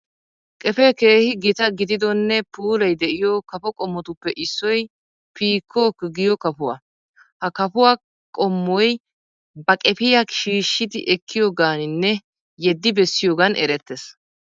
Qefee keehi gita gididonne puulay de'iyoo kafo qommotuppe issoy pikok giyo kafuwa. Ha kafuwa qommoy ba qefiya shiishshi ekkiyoogaaninne yeddi bessiyoogan erettees.